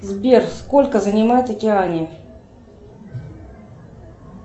сбер сколько занимает океания